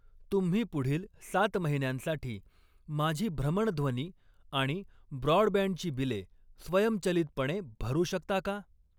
तुम्ही पुढील सात महिन्यांसाठी माझी भ्रमणध्वनी आणि ब्रॉडबँडची बिले स्वयंचलितपणे भरू शकता का?